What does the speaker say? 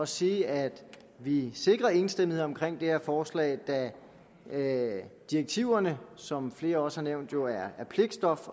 sige at vi sikrer enstemmighed om det her forslag da direktiverne som flere også har nævnt jo er pligtstof